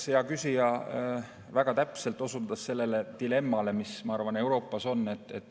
Jah, hea küsija väga täpselt osutas sellele dilemmale, mis, ma arvan, Euroopas on.